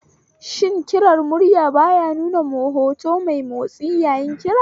Shi kirar murya ba ya nuna hoto mai motsi yayin kira